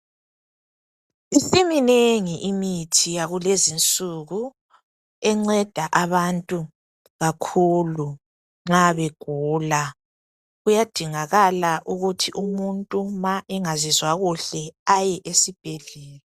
Isiminengi imithi yakulezinsuku enceda abantu kakhulu nxa begula . Kuyadingakala ukuthi umuntu ma engazizwa kuhle aye esibhedlela.